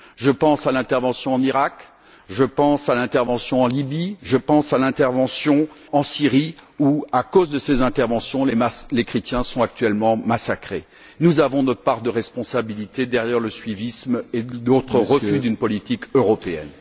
Je pense à l'intervention en Iraq, je pense à l'intervention en Libye, je pense à l'intervention en Syrie, où, à cause de ces interventions, les chrétiens sont actuellement massacrés. Nous avons notre part de responsabilité en raison de ce suivisme et de notre refus d'une politique européenne.